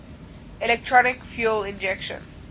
electronic fuel injection